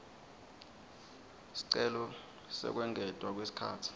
sicelo sekwengetwa kwesikhatsi